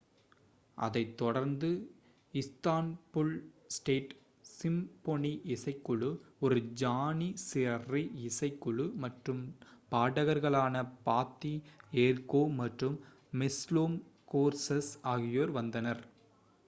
அதைத் தொடர்ந்து Istanbul state symphony இசைக்குழு ஒரு ஜானிசரி இசைக்குழு மற்றும் பாடகர்களான பாத்தி எர்கோவ் மற்றும் மெஸ்லோம் கோர்சஸ் ஆகியோர் வந்தனர்